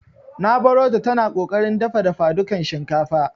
Nq barota tana ƙoƙarin dafa dafadukan shinkafa.